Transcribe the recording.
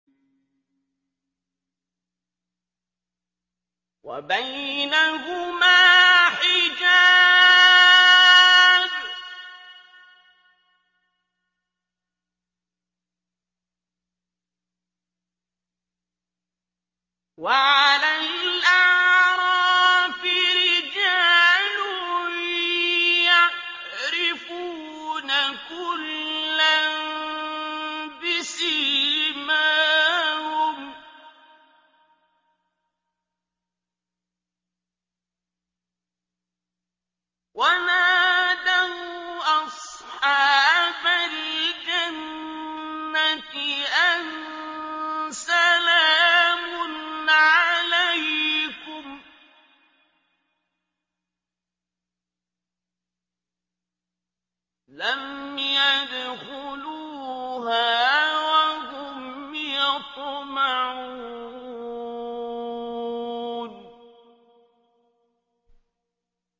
وَبَيْنَهُمَا حِجَابٌ ۚ وَعَلَى الْأَعْرَافِ رِجَالٌ يَعْرِفُونَ كُلًّا بِسِيمَاهُمْ ۚ وَنَادَوْا أَصْحَابَ الْجَنَّةِ أَن سَلَامٌ عَلَيْكُمْ ۚ لَمْ يَدْخُلُوهَا وَهُمْ يَطْمَعُونَ